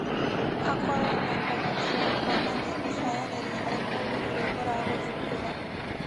akorũo na ũhoti wa kuonania ũcayanĩri harĩ mũndũ ũrĩa ũragũthumbũra.